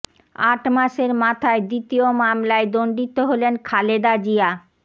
আট মাসের মাথায় দ্বিতীয় মামলায় দণ্ডিত হলেন খালেদা জিয়া